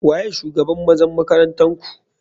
Waye shugaban ,mazan makaranntarku.